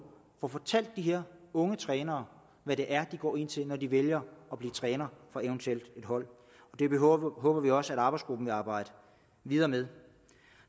får fortalt de her unge trænere hvad det er de går ind til når de vælger at blive trænere for et hold det håber vi også at arbejdsgruppen vil arbejde videre med